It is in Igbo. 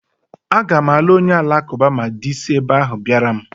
Aga m alụ onye alakụba ma dị si ebe ahụ bịara m